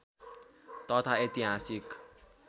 तथा ऐतिहासिक